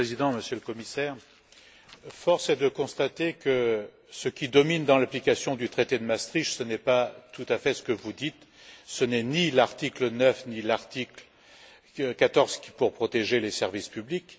Monsieur le Président, Monsieur le Commissaire, force est de constater que ce qui domine dans l'application du traité de Maastricht, ce n'est pas tout à fait ce que vous dites ce n'est ni l'article 9, ni l'article 14 pour protéger les services publics.